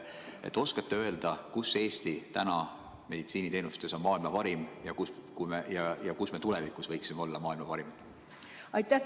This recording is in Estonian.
Kas te oskate öelda, kus on Eesti täna meditsiiniteenustes maailma parim ja kus me tulevikus võiksime olla maailma parimad?